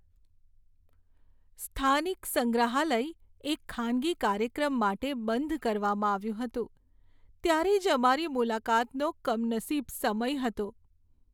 સ્થાનિક સંગ્રહાલય એક ખાનગી કાર્યક્રમ માટે બંધ કરવામાં આવ્યું હતું, ત્યારે જ અમારી મુલાકાતનો કમનસીબ સમય હતો.